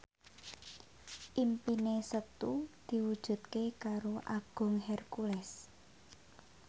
impine Setu diwujudke karo Agung Hercules